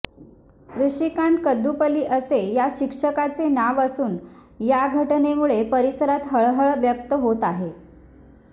ऋषीकांत कदुपल्ली असे या शिक्षकाचे नाव असून या घटनेमुळे परिसरात हळहळ व्यक्त होत आहे